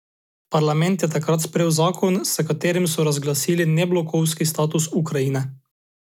Parlament je takrat sprejel zakon, s katerim so razglasili neblokovski status Ukrajine.